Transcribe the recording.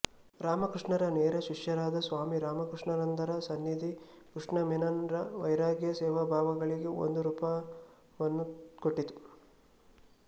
ರಾಮಕೃಷ್ಣರ ನೇರ ಶಿಷ್ಯರಾದ ಸ್ವಾಮಿ ರಾಮಕೃಷ್ಣಾನಂದರ ಸನ್ನಿಧಿ ಕೃಷ್ಣ ಮೆನನ್ ರ ವೈರಾಗ್ಯಸೇವಾಭಾವಗಳಿಗೆ ಒಂದು ರೂಪವನ್ನು ಕೊಟ್ಟಿತು